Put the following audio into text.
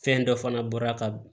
Fɛn dɔ fana bɔra ka